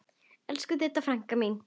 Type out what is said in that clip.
Elsku Didda frænka mín.